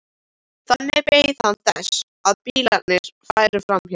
Þannig beið hann þess að bílarnir færu hjá.